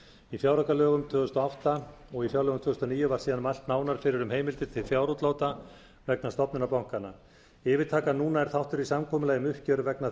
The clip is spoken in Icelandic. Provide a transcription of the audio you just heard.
í fjáraukalögum tvö þúsund og átta og í fjárlögum tvö þúsund og níu var síðan mælt nánar fyrir um heimildir til fjárútláta vegna stofnunar bankanna yfirtakan núna er þáttur í samkomulagi um uppgjör vegna